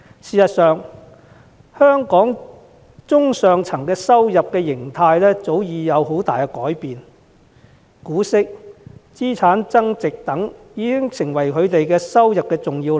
事實上，香港中上階層的收入模式早已有很大改變，股息和資產增值等已經成為他們的重要收入來源。